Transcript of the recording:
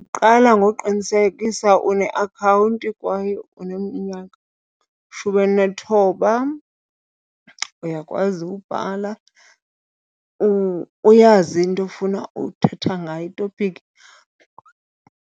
Uqala ngoqinisekisa uneakhawunti kwaye uneminyaka elishumi elinethoba, uyakwazi ubhala, uyazi into ofuna uthetha ngayo, itopiki